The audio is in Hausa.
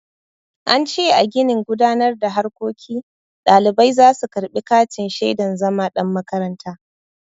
An ce a ginin gudanar da harkoki ɗalibai za su karɓi katin shaidan zama ɗan makaranta.